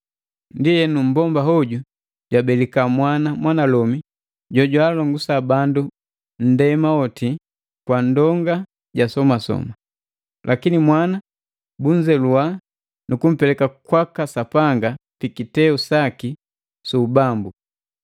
Ndienu, mmbomba hoju jwabelika mwana mwanalomi jojwaalongusa bandu ba nndema yoti kwa ndonga ja somasoma. Lakini mwana bunzeluwa nu kumpeleka kwaka Sapanga pi kiteu saki su ubambu.